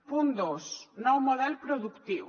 punt dos nou model productiu